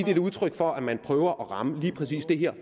er et udtryk for at man prøver at ramme lige præcis det her